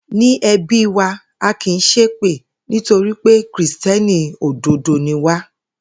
Ní e̩bí wa, a kì í s̩épè nítorí pé Kìrìsté̩nì òdodo ni wá